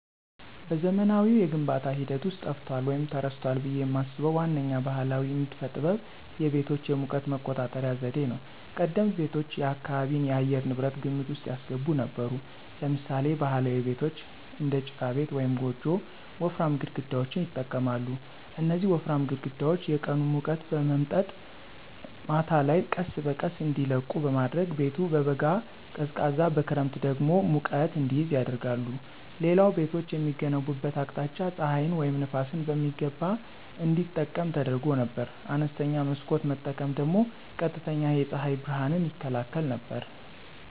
በዘመናዊው የግንባታ ሂደት ውስጥ ጠፍቷል ወይም ተረስቷል ብዬ የማስበው ዋነኛው ባሕላዊ ንድፍ ጥበብ የቤቶች የሙቀት መቆጣጠሪያ ዘዴ ነው። ቀደምት ቤቶች የአካባቢን የአየር ንብረት ግምት ውስጥ ያስገቡ ነበሩ። ለምሳሌ ባህላዊ ቤቶች (እንደ ጭቃ ቤት ወይም ጎጆ) ወፍራም ግድግዳዎችን ይጠቀማሉ። እነዚህ ወፍራም ግድግዳዎች የቀኑን ሙቀት በመምጠጥ ማታ ላይ ቀስ በቀስ እንዲለቁ በማድረግ ቤቱ በበጋ ቀዝቃዛ በክረምት ደግሞ ሙቀት እንዲይዝ ያደርጋሉ። ሌላው ቤቶች የሚገነቡበት አቅጣጫ ፀሐይን ወይም ነፋስን በሚገባ እንዲጠቀም ተደርጎ ነበር። አነስተኛ መስኮት መጠቀም ደግሞ ቀጥተኛ የፀሐይ ብርሃንን ይከላከል ነበር።